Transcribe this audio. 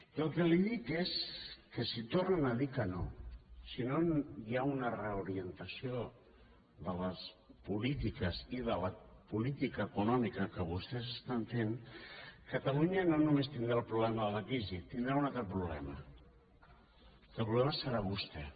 jo el que li dic és que si tornen a dir que no si no hi ha una reorientació de les polítiques i de la política econòmica que vostès estan fent catalunya no només tindrà el problema de la crisi tindrà un altre problema que el problema serà vostè